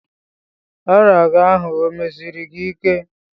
Ọrịa gị ahụ o mesiri gị ike?